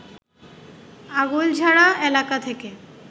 আগৈলঝাড়া এলাকা থেকে